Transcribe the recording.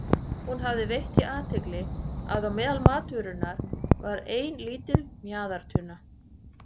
Hún hafði veitt því athygli að meðal matvörunnar var ein lítil mjaðartunna.